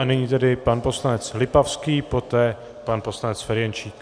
A nyní tedy pan poslanec Lipavský, poté pan poslanec Ferjenčík.